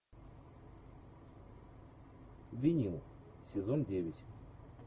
винил сезон девять